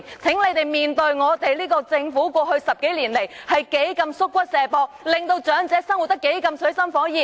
請這些議員正視我們這個政府過去10多年來多麼"縮骨卸膊"，令長者生活得多麼水深火熱。